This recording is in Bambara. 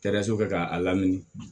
Taraso kɛ k'a lamini